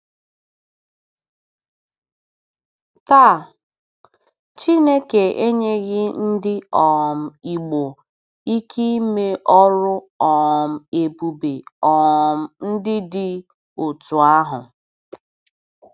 Taa, Chineke enyeghị ndị um Igbo ike ime ọrụ um ebube um ndị dị otú ahụ.